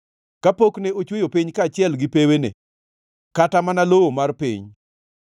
kapok ne ochweyo piny kaachiel gi pewene kata mana lowo mar piny.